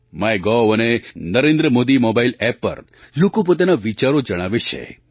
my gov અને Narendra Modi mobile App પર લોકો પોતાના વિચારો જણાવે છે